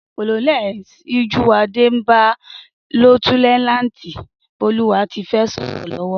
Coloneli Síjúwadé n bá líéutènànti Bólúwatifẹ́ sòrò lówó